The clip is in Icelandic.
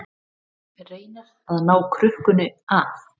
Reynir að ná krukkunni af